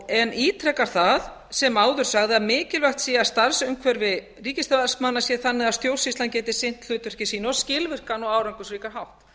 en ítreka það sem áður sagði að mikilvægt sé að starfsumhverfi ríkisstarfsmanna sé þannig að stjórnsýslan geti sinnt hlutverki sínu á skilvirkan og árangursríkan